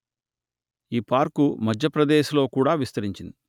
ఈ పార్కు మధ్యప్రదేశ్ ‌లో కూడా విస్తరించింది